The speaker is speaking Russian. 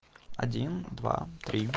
один два три